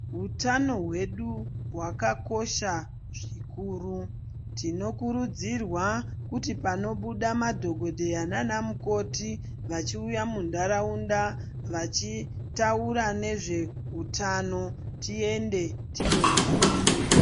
Utano hwesu hwakakosha zvikuru. Tinokurudzirwa kuti panobuda madhokodheya nana mukoti vachiuya muntaraunda vachitaura nezve hutano tiende tinoyaiya.